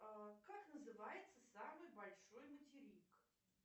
как называется самый большой материк